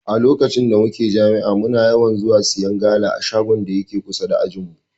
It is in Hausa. Da muke jami'a muna yawan zuwa siyan gala a shagon dake kusa da ajinmu.